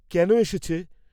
কেন এসেছে?